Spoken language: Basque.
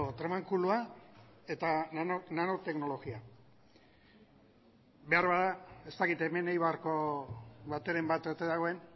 tramankulua eta nano teknologia behar bada ez dakit hemen eibarko bateren bat ote dagoen